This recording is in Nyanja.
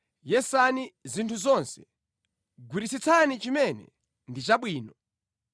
Yesani zinthu zonse. Gwiritsitsani chimene ndi chabwino.